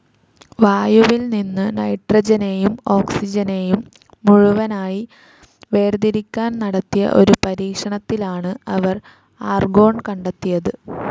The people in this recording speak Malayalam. വായുവിൽ നിന്നും നൈട്രജനെയും ഓക്സിജനെയും മുഴുവനായി വേർതിരിക്കാൻ നടത്തിയ ഒരു പരീക്ഷണത്തിലാണ് അവർ ആർഗോൺ കണ്ടെത്തിയത്.